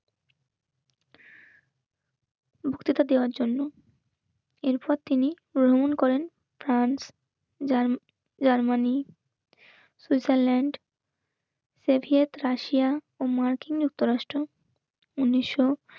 বক্তৃতা দেওয়ার জন্য. এরপর তিনি গ্রহণ করেন. France, German, Germany Switzerland Soviet Russia ও মার্কিন যুক্তরাষ্ট্র উনিশশো